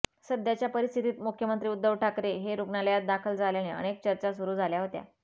सध्याच्या परिस्थितीत मुख्यमंत्री उद्धव ठाकरे हे रुग्णालयात दाखल झाल्याने अनेक चर्चा सुरू झाल्या होत्या